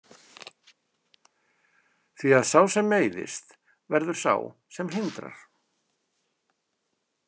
Því að sá sem meiðist verður sá sem hindrar.